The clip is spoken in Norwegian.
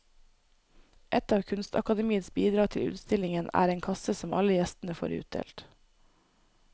Et av kunstakademiets bidrag til utstillingen er en kasse som alle gjestene får utdelt.